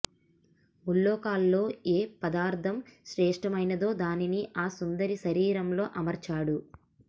ముల్లోకాల్లో ఏ పదార్థం శ్రేష్టమైనదో దానిని ఆ సుందరి శరీరంలో అమర్చాడు